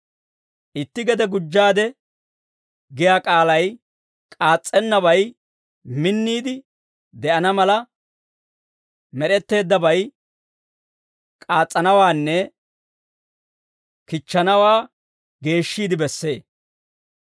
«Itti gede gujjaade» giyaa k'aalay k'aas's'ennabay minniide de'ana mala, med'etteeddabay k'aas's'anawaanne kichchanawaa geeshshiide bessee.